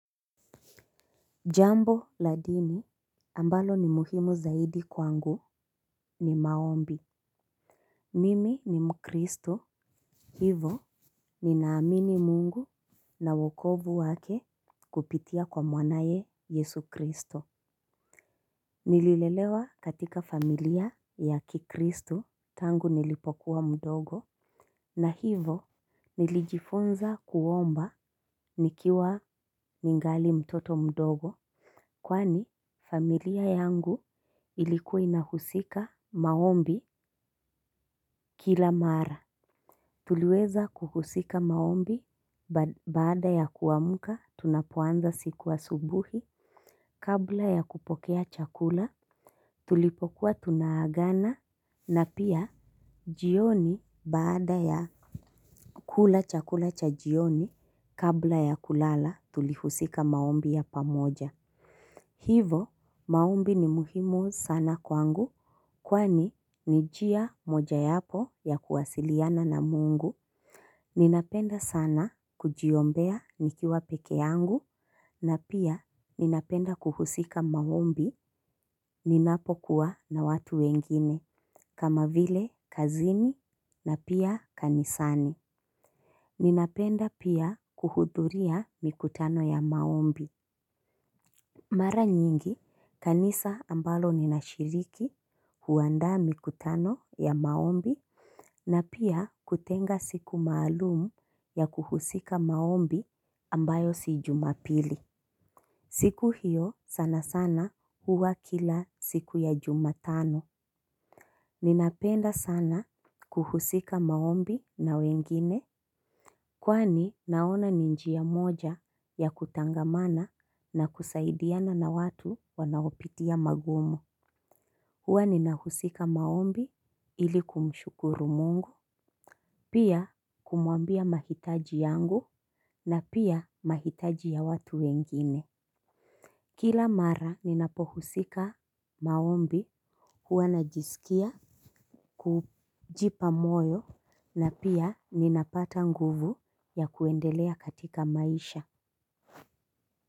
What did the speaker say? Jambo ladini ambalo ni muhimu zaidi kwangu ni maombi Mimi ni mkristo hivo ninaamini mungu na wokovu wake kupitia kwa mwanaye yesu kristo. Nililelewa katika familia ya kikristu tangu nilipokuwa mdogo. Na hivo nilijifunza kuomba nikiwa ningali mtoto mdogo. Kwani familia yangu ilikuwa inahusika maombi kila mara. Tuliweza kuhusika maombi baada ya kuamuka tunapoanza siku asubuhi kabla ya kupokea chakula tulipokuwa tunaagana na pia jioni baada ya kula chakula cha jioni kabla ya kulala tulihusika maombi ya pamoja. Hivo maombi ni muhimu sana kwangu kwani nijia moja yapo ya kuwasiliana na mungu. Ninapenda sana kujiombea nikiwa peke yangu na pia ninapenda kuhusika maombi ninapokuwa na watu wengine kama vile kazini na pia kanisani. Ninapenda pia kuhuduria mikutano ya maombi. Mara nyingi, kanisa ambalo ninashiriki huanda mikutano ya maombi na pia kutenga siku maalumu ya kuhusika maombi ambayo sijumapili. Siku hiyo sana sana huwa kila siku ya jumatano. Ninapenda sana kuhusika maombi na wengine. Kwani naona ninjiya moja ya kutangamana na kusaidiana na watu wanaopitia magumu. Huwa nina husika maombi ili kumshukuru mungu, pia kumuambia mahitaji yangu na pia mahitaji ya watu wengine. Kila mara ninapohusika maombi huwa najisikia kujipa moyo na pia ninapata nguvu ya kuendelea katika maisha.